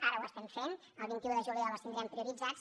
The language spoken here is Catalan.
ara ho estem fent el vint un de juliol els tindrem prioritzats